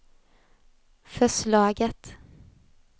förslaget